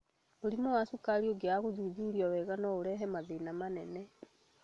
Mũrimũ wa cukari ũngĩaga gũthuthurio wega no ũrehe mathĩna manene.